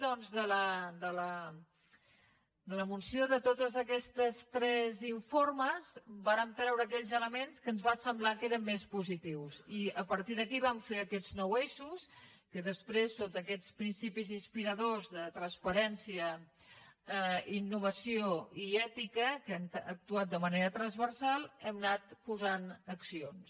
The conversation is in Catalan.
doncs de l’emulsió de tots aquests tres informes en vàrem treure aquells elements que ens van semblar que eren més positius i a partir d’aquí vam fer aquests nou eixos en què després sota aquests principis inspiradors de transparència innovació i ètica que han actuat de manera transversal hem anat posant accions